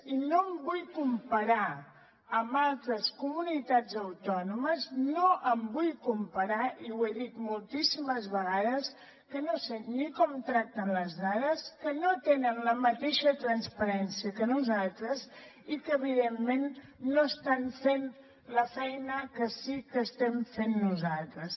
i no em vull comparar amb altres comunitats autònomes no em vull comparar i ho he dit moltíssimes vegades que no sé ni com tracten les dades que no tenen la mateixa transparència que nosaltres i que evidentment no estan fent la feina que sí que estem fent nosaltres